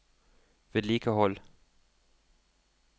vedlikehold